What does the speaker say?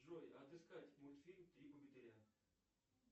джой отыскать мультфильм три богатыря